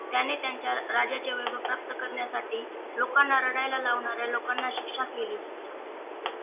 त्याने त्याच्या राज्याचे प्राप्त करण्यासाठी लोकांना रडायला लावणाऱ्या लोकांना शिक्षा केली